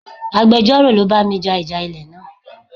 Agbejoro ló bá mi ja ìjà ilẹ̀ náà.